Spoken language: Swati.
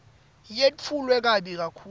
yetfulwe kabi kakhulu